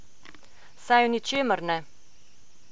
Saj v ničemer ne.